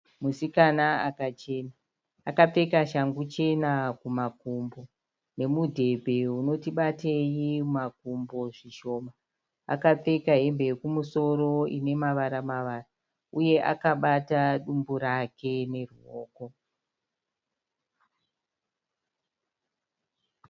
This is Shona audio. Musikana akachena, akapfeka shangu chena kumakumbo nemudhebhe unoti batei mumakumbo zvishoma. Akapfeka hembe yekumusoro inemavara mavara uye akabata dumbu rake neruoko.